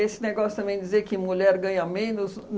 negócio também de dizer que mulher ganha menos.